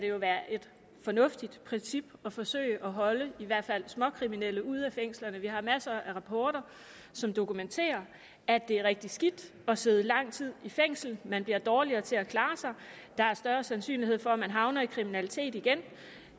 det jo være et fornuftigt princip at forsøge at holde i hvert fald småkriminelle ude af fængslerne vi har masser af rapporter som dokumenterer at det er rigtig skidt at sidde lang tid i fængsel man bliver dårligere til at klare sig der er større sandsynlighed for at man havner i kriminalitet igen